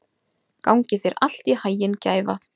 Gangi þér allt í haginn, Gæfa.